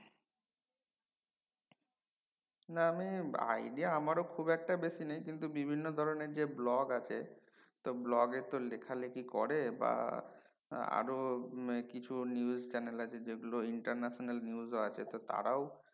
না আমি idea আমারো খুব একটা বেশি নেই কিন্তু বিভিন্ন ধরনের যে ব্লগ আছে তো ব্লগ তো লেখা লেখি করে বা আরো কিছু news channel আছে যেগুলো international news আছে তারাও